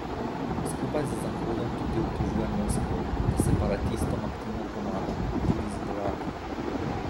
Skupaj z Zahodom tudi obtožuje Moskvo, da separatistom aktivno pomaga, tudi z vojaki.